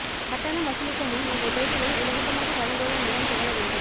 கட்டணம் வசூலிக்க முன் உங்கள் பேச்சுகளை இலவசமாக வழங்குவதன் மூலம் தொடங்க வேண்டும்